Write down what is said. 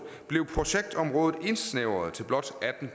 blev projektområdet indsnævret til blot atten